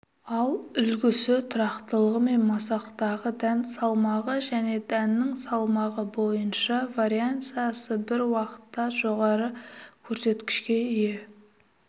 ал үлгісі тұрақтылығымен масақтағы дән салмағы және дәннің салмағы бойынша вариансасы бір уақытта жоғары көрсеткішке ие